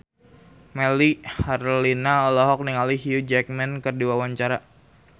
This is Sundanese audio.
Melly Herlina olohok ningali Hugh Jackman keur diwawancara